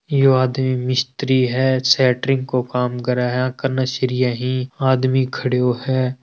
यो आदमी मिस्त्री है सैटरिंग को कम करें हैं कने सरिया ही आदमी खड़ीयो है।